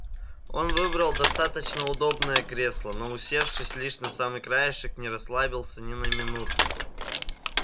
он выбрал достаточно удобное кресло но усевшись лишь на самый краешек не расслабился ни на минуту